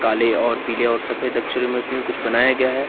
काले और पीले और सफेद अक्षरों में उसमें कुछ बनाया गया हैं।